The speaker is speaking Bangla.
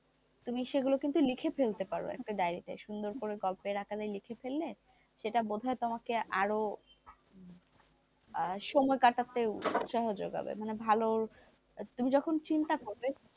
তুমি সেগুলো কিন্তু লিখে ফেলতে পারো একটা ডাইরিতে সুন্দর করে গল্পের আকারে লিখে ফেলে সেটা বোধহয় তোমাকে আরো সময় কাটাতে উৎসাহ যোগাবে মানে ভালো তুমি যখন চিন্তা করবে,